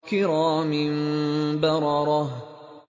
كِرَامٍ بَرَرَةٍ